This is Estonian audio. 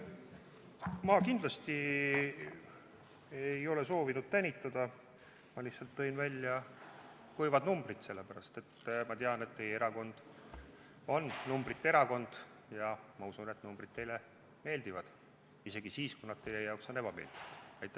Ma kindlasti ei ole soovinud tänitada, ma lihtsalt tõin ära kuivad numbrid, sest ma tean, et teie erakond on numbrite erakond, ja ma usun, et numbrid teile meeldivad – isegi siis, kui nad on teie jaoks ebameeldivad.